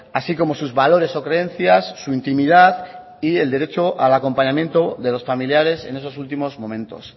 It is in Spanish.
así como sus valores o creencias su intimidad y el derecho al acompañamiento de los familiares en esos últimos momentos